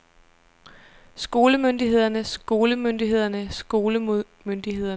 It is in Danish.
skolemyndighederne skolemyndighederne skolemyndighederne